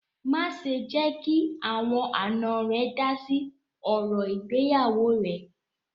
Má ṣè jẹ́ kí àwọn àná rẹ dá sí ọ̀rọ̀ ìgbéyàwọ́ rẹ̀!